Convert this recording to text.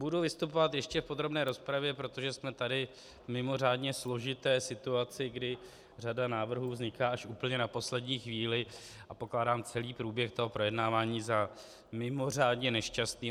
Budu vystupovat ještě v podrobné rozpravě, protože jsme tady v mimořádně složité situaci, kdy řada návrhů vzniká až úplně na poslední chvíli, a pokládám celý průběh toho projednávání za mimořádně nešťastný.